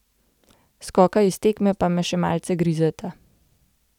Skoka iz tekme pa me še malce grizeta.